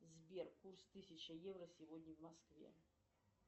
сбер курс тысяча евро сегодня в москве